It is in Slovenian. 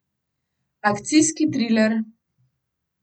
Akcijski triler.